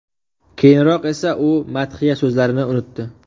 Keyinroq esa u madhiya so‘zlarini unutdi.